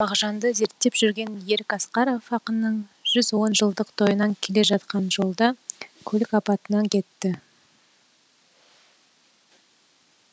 мағжанды зерттеп жүрген ерік асқаров ақынның жүз он жылдық тойынан келе жатқан жолда көлік апатынан кетті